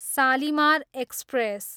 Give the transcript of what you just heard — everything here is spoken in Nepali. सालिमार एक्सप्रेस